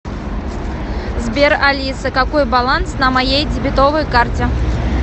сбер алиса какой баланс на моей дебетовой карте